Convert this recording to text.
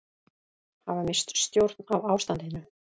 Hafa misst stjórn á ástandinu